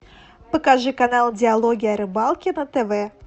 покажи канал диалоги о рыбалке на тв